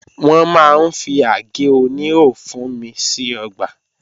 Wọ́n máa ń fi àgé oníhò fúnmi sí ọgbà